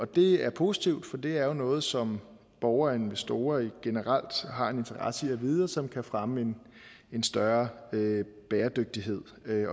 det er positivt for det er noget som borgere og investorer generelt har en interesse i at vide og som kan fremme en større bæredygtighed